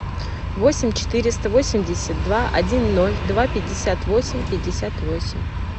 восемь четыреста восемьдесят два один ноль два пятьдесят восемь пятьдесят восемь